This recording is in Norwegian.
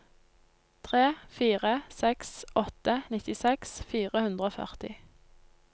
tre fire seks åtte nittiseks fire hundre og førti